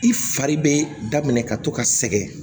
I fari bɛ daminɛ ka to ka sɛgɛn